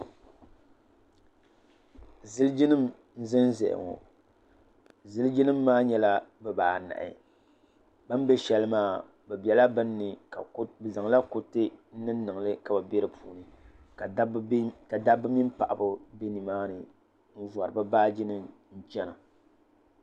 zilijinim ʒɛn ʒɛya ŋɔ zilijinim maa nyɛla di baa anahi be bɛ shɛli maa be bɛla bɛni be zaŋ la kuriti niŋ niŋli ka dabi bɛ be mini paɣ' ba bɛ nimaani n vuri be baaji nim china